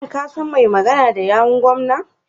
Shin ka san mai magana da yawun gwamnan.